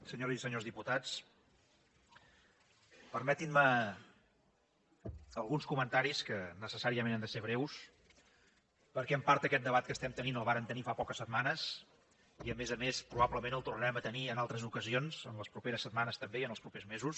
senyores i senyors diputats permetin me alguns comentaris que necessàriament han de ser breus perquè en part aquest debat que estem tenint el vàrem tenir fa poques setmanes i a més a més probablement el tornarem a tenir en altres ocasions les properes setmanes també i els propers mesos